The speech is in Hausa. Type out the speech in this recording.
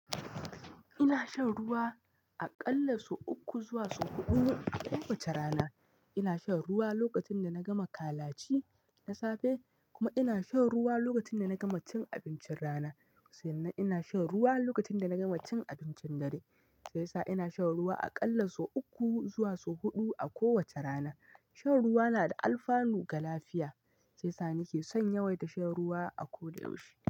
Ina shan ruwa aƙalla sau uku zuwa sau huɗu a kowace rana. Ina shan ruwa lokacin da na gama kalaci na safe kuma ina shan ruwa lokacin da na gama cin abincin rana. Sai nan ina shan ruwa lokacin da na gama cin abincin dare. Sai sa ina shan ruwa aƙalla sau uku zuwa sau huɗu a kowace rana. Shan ruwa na da alfanu ga lafiya, shiyasa nake son yawaita shan ruwa a ko da yaushe.